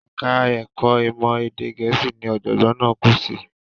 Ẹ̀ka ẹ̀kọ́ ìmọ̀ èdè Gẹ̀ẹ́sì ni ọ̀jọ̀gbọ́n náà kú sí.